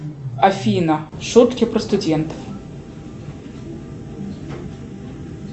афина шутки про студентов